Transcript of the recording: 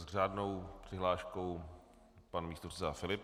S řádnou přihláškou pan předseda Filip.